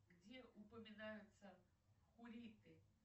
где упоминаются хуриты